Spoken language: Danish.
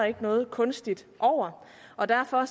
ikke noget kunstigt over og derfor